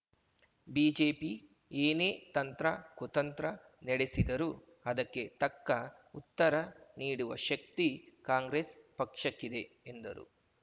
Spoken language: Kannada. ಬಿಜೆಪಿ ಏನೇ ತಂತ್ರ ಕುತಂತ್ರ ನೆಡೆಸಿದರೂ ಅದಕ್ಕೆ ತಕ್ಕ ಉತ್ತರ ನೀಡುವ ಶಕ್ತಿ ಕಾಂಗ್ರೆಸ್‌ ಪಕ್ಷಕ್ಕಿದೆ ಎಂದರು